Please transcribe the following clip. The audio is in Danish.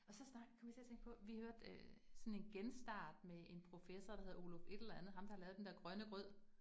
Og så kom jeg til at tænke på, vi hørte øh sådan en Genstart med en professor, der heder Oluf et eller andet, ham der har lavet den der grønne grød